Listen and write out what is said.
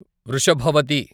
Vrishabhavathi